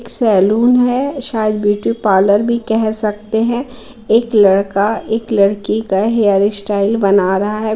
Salon है शायद beauty parlour भी कह सकते है एक लड़का एक लड़की का हेयर स्टाइल बना रहा है।